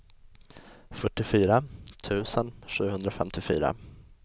fyrtiofyra tusen sjuhundrafemtiofyra